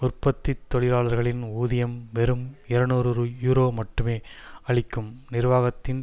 உற்பத்தி தொழிலாளர்களின் ஊதியம் வெறும் இருநூறு யூரோ மட்டுமே அளிக்கும் நிர்வாகத்தின்